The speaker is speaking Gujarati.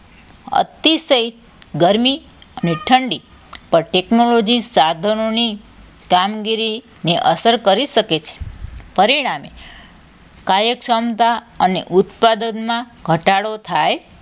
અતિશય ગરમી ને ઠંડી પર technology સાધનોની કામગીરીને અસર કરી શકે છે પરિણામે કાયક સમતા ઉત્પાદકમાં ઘટાડો થાય